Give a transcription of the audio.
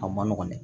A ma nɔgɔn dɛ